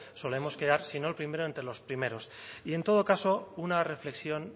solemos quedar si no el primero entre los primeros y en todo caso una reflexión